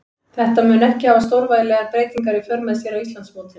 Þetta mun ekki hafa stórvægilegar breytingar í för með sér á Íslandsmótinu.